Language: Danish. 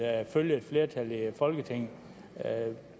følge et flertal i folketinget